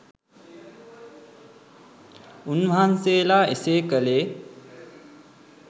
උන් වහන්සේලා එසේ කළේ